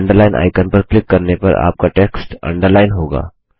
underline icon पर click करने पर आपका टेक्स्ट अंडरलाइन होगा